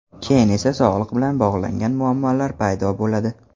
Keyin esa sog‘liq bilan bog‘langan muammolar paydo bo‘ladi.